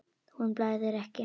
Honum blæðir ekki.